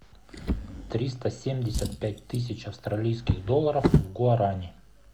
триста семьдесят пять тысяч австралийских долларов в гуарани